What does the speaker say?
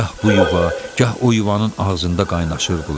Gah bu yuva, gah o yuvanın ağzında qaynaşırdılar.